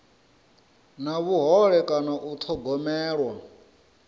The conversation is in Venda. na vhuhole kana u thogomelwa